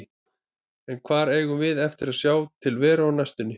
En hvar eigum við eftir að sjá til Veru á næstunni?